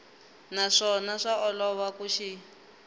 naswona swa olova ku xi